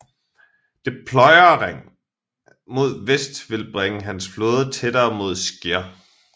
Deployering mod vest ville bringe hans flåde tættere mod Scheer